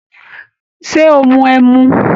Ṣé o mu ẹmu?